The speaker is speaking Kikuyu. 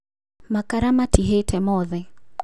Makara matihĩte mothe